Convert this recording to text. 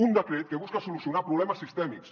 un decret que busca solucionar problemes sistèmics